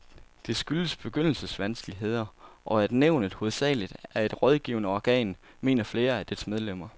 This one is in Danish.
Det skyldes begyndervanskeligheder, og at nævnet hovedsageligt er et rådgivende organ, mener flere af dets medlemmer.